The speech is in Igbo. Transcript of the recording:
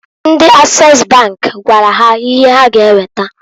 Ndi Ases bank gwara ha ihe ha ga eweta.